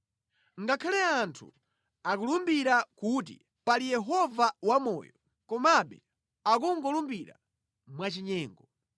Ngakhale anthu akulumbira kuti, ‘Pali Yehova wamoyo,’ komabe akungolumbira mwachinyengo.”